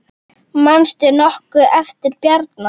Manstu nokkuð eftir Bjarna?